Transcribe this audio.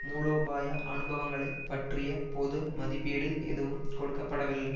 மூலோபாய அனுபவங்களை பற்றிய பொது மதிப்பீடு எதுவும் கொடுக்க படவில்லை